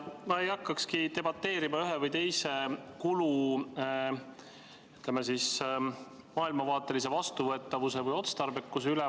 Ma ei hakkakski debateerima ühe või teise kulu, ütleme siis, maailmavaatelise vastuvõetavuse või otstarbekuse üle.